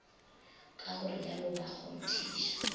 ka go rialo ba kgonthiša